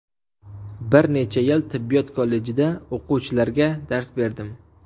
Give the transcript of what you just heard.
Bir necha yil tibbiyot kollejida o‘quvchilarga dars berdim.